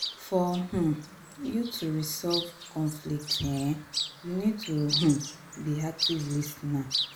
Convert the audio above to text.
for um you to fit resolve conflict um you need to um be active lis ten er